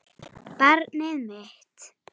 Barnið mitt.